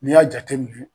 N'i y'a jateminɛ